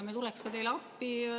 Me tuleksime teile appi.